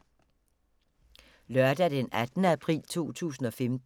Lørdag d. 18. april 2015